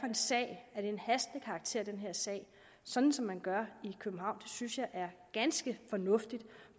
en sag er af hastende karakter sådan som man gør i københavn det synes jeg er ganske fornuftigt